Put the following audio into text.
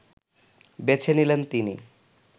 বেছে নিলেন তিনি